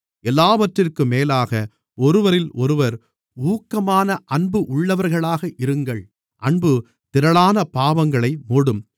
எல்லாவற்றிற்கும் மேலாக ஒருவரிலொருவர் ஊக்கமான அன்பு உள்ளவர்களாக இருங்கள் அன்பு திரளான பாவங்களை மூடும்